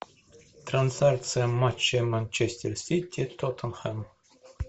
трансляция матча манчестер сити тоттенхэм